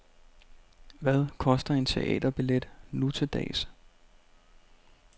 Hvad koster en teaterbillet nu til dags.